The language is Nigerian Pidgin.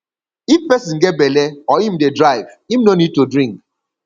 if person get belle or im dey drive im no need to drink